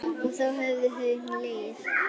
Og þá höfðu þau hlegið.